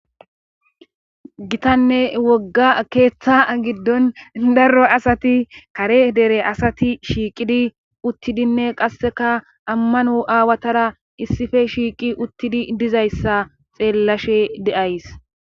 Gitanne wogga keeththa giddon darro asati kare dere asati shiiqidi uttidinne qasseka ammano aawatara issife shiiqi uttidi dizayssa xeellashe de'ays.